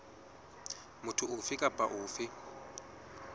motho ofe kapa ofe eo